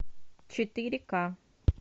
четыре ка